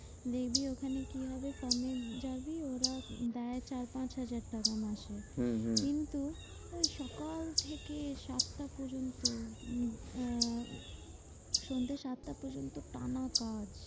দেখবি ওখানে কি হবে? যাবি। ওরা দেয় চার পাঁচ হাজার টাকা মাসে। হম হম কিন্তু ওই সকাল থেকে সাতটা পর্যন্ত উম আহ সন্ধে সাতটা পর্যন্ত টানা কাজ।